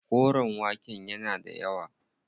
Koren waken yana da yawa.